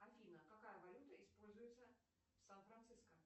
афина какая валюта используется в сан франциско